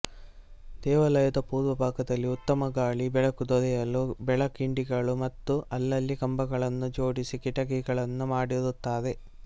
ದೇವಾಲಯದ ಪೂರ್ವಭಾಗದಲ್ಲಿ ಉತ್ತಮ ಗಾಳಿ ಬೆಳಕು ದೊರೆಯಲು ಬೆಳಕಿಂಡಿಗಳು ಮತ್ತು ಅಲ್ಲಲ್ಲಿ ಕಂಬಗಳನ್ನು ಜೋಡಿಸಿ ಕಿಟಕಿಗಳನ್ನು ಮಾಡಿರುತ್ತಾರೆ